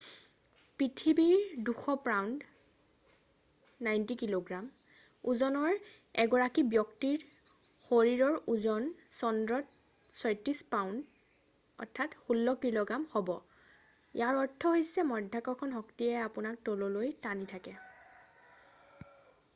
পৃথিৱীত ২০০পাউণ্ড ৯০ কিগ্ৰা ওজনৰ এগৰাকী ব্যক্তিৰ শৰীৰৰ ওজন চন্দ্ৰত ৩৬ পাউণ্ড ১৬ কিগ্ৰা হ'ব। ইয়াৰ অৰ্থ হৈছে মধ্যাকৰ্ষণ শক্তিয়ে আপোনাত তললৈ টানি থাকে।